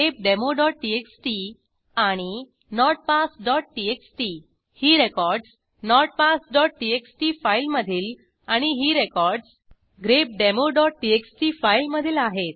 grepdemoटीएक्सटी आणि notpassटीएक्सटी ही रेकॉर्डसnotpasstxt फाईलमधील आणि ही रेकॉर्डस grepdemoटीएक्सटी फाईलमधील आहेत